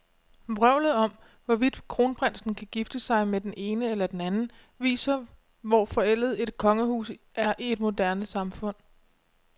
Vrøvlet om, hvorvidt kronprinsen kan gifte sig med den ene eller den anden, viser, hvor forældet et kongehus er i et moderne samfund.